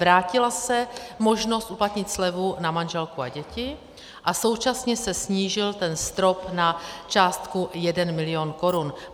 Vrátila se možnost uplatnit slevu na manželku a děti a současně se snížil ten strop na částku jeden milion korun.